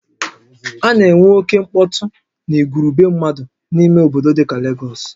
A na enwe oke mkpọtụ na igwurube mmadụ n'ime obodo dika Legọs